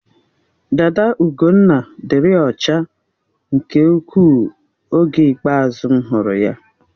Dada Ugonna dịrị ọcha nke ukwuu oge ikpeazụ m hụrụ ya.